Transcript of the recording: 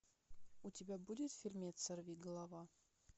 у тебя будет фильмец сорвиголова